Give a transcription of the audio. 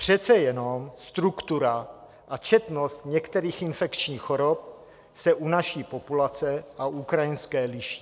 Přece jenom struktura a četnost některých infekčních chorob se u naší populace a ukrajinské liší.